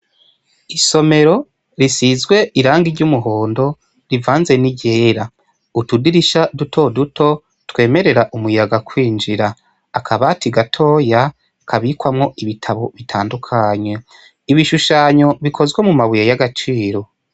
Isomero risizwe irangi ry'umuhondo rivanze ni ryera, utudirisha duto duto twemerera umuyaga kwinjira, akabati gatoya kabikwamwo ibitabo bitandukanya, ibishushanyo bikozwe mu mabuye y'agaciro.